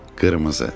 Qırmızı.